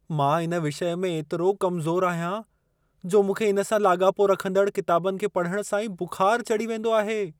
मां इन विषय में एतिरो कमज़ोरु आहियां, जो मूंखे इन सां लाॻापो रखंदड़ किताबनि खे पढण सां ई बुख़ार चढ़ी वेंदो आहे।